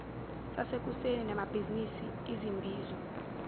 sasekuseni nabamabhizinisi izimbizo